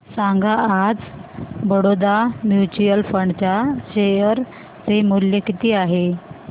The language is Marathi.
सांगा आज बडोदा म्यूचुअल फंड च्या शेअर चे मूल्य किती आहे